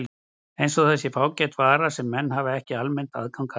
Eins og það sé fágæt vara sem menn hafi ekki almennt aðgang að.